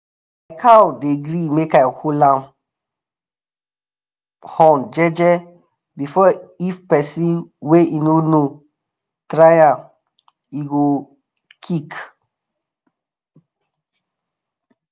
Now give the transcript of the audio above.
cow dey gree make i hold em horn jeje but if pesin wey em no know try am e go um kick.